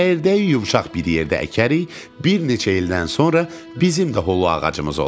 Çəyirdəyi yumşaq bir yerdə əkərik, bir neçə ildən sonra bizim də hulu ağacımız olar.